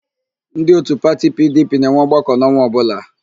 Ndị òtù pati PIiDIiPIi na-enwe ọgbakọ n'ọnwa ọbụla.